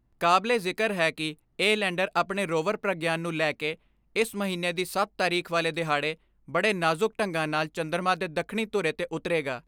ਕਾਬਲੇ ਜਿਕਰ ਹੈ ਕਿ ਇਹ ਲੈਂਡਰ ਆਪਣੇ ਰੋਵਰ ਪ੍ਰਗਯਾਨ ਨੂੰ ਲੈਕੇ ਇਸ ਮਹੀਨੇ ਦੀ ਸੱਤ ਤਾਰੀਖ ਵਾਲੇ ਦਿਹਾੜੇ ਬੜੇ ਨਾਜੁਕ ਢੰਗਾਂ ਨਾਲ਼ ਚੰਦਰਮਾ ਦੇ ਦੱਖਣੀ ਧੁਰੇ ਤੇ ਉਤਰੇਗਾ।